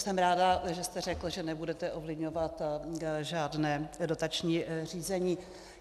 Jsem ráda, že jste řekl, že nebudete ovlivňovat žádné dotační řízení.